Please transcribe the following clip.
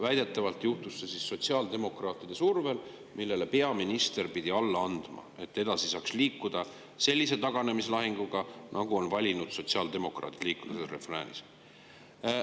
Väidetavalt juhtus see sotsiaaldemokraatide survel, millele peaminister pidi alla andma, et saaks edasi liikuda sellise taganemislahinguga, nagu on valinud sotsiaaldemokraadid, selle refrääniga.